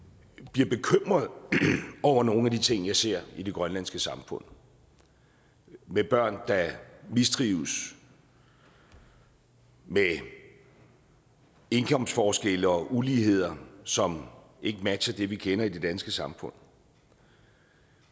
bliver bekymret over nogle af de ting jeg ser i det grønlandske samfund med børn der mistrives med indkomstforskelle og uligheder som ikke matcher det vi kender i det danske samfund